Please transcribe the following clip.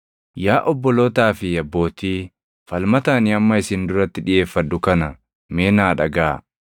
“Yaa obbolootaa fi abbootii, falmata ani amma isin duratti dhiʼeeffadhu kana mee naa dhagaʼaa.”